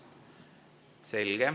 Selge.